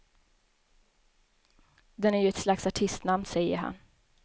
Den är ju ett slags artistnamn, säger han.